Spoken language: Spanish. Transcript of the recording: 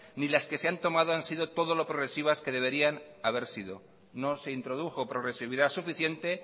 ni las que se han tomado han sido todo lo progresivas que deberían haber sido no se introdujo progresividad suficiente